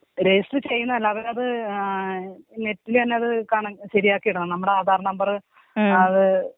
Register ചെയ്യുന്നതല്ല അവരത് നെറ്റില്‍ തന്നെ അത് കണക്ട് ശെരിയാക്കിടണം നമ്മടെ ആധാർ നമ്പർ.